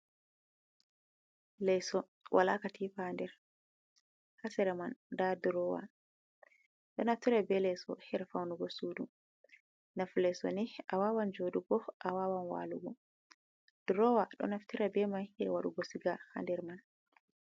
Leeso wala katifa haa nder, haa sera man nda durowa. Ɗo naftira be leeso haa faunugo sudu. Nafu leeso ni awawan joɗugo, awawan walugo. Durowa ɗo naftira be mai haa waɗugo siga haa nder man.